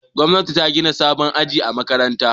Gwamnati ta gina sabon ginin aji a makarantar.